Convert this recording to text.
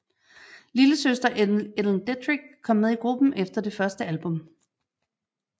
Lillesøster Ellen Dedrick kom med i gruppen efter det første album